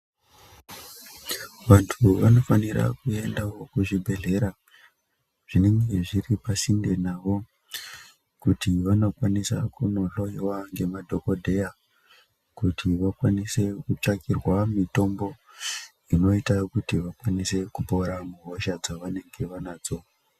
Vantu vanofanira kuenda uko kuzvibhedhlera zvinenge zviri pasinde navo kuti vandokwanisa kuhloiwa ngemadhokodheya kuti vakwanise kutsvakirwa mitombo inoita Kuti vaone kupera hosha dzavanadzo.